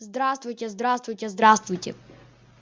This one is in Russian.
здравствуйте здравствуйте здравствуйте